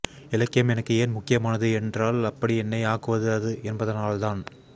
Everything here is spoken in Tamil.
இலக்கியம் எனக்கு ஏன் முக்கியமானது என்றால் அப்படி என்னை ஆக்குவது அது என்பதனால்தான்